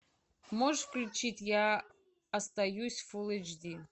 можешь включить я остаюсь фул эйч ди